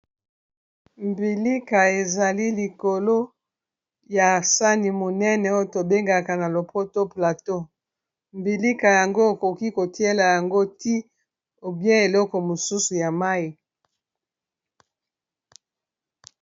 Mbilika ezali likolo ya sani monene oyo tobengaka na lopoto plateau mbilika yango okoki kotiela yango ti ou bien eloko mosusu ya mayi.